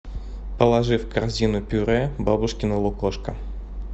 положи в корзину пюре бабушкино лукошко